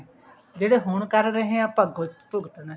ਜਿਹੜੇ ਹੁਣ ਕਰ ਰਹੇ ਹਾਂ ਅੱਗੋ ਭੁਗਤਨਾ